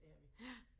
Det havde vi